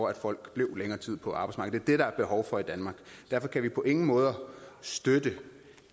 at folk bliver længere tid på arbejdsmarkedet derfor kan vi på ingen måder støtte